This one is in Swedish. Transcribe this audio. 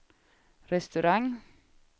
restaurang